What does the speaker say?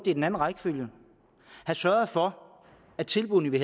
i den anden rækkefølge have sørget for at tilbuddene vi